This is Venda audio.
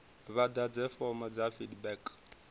vha ḓadze fomo ya feedback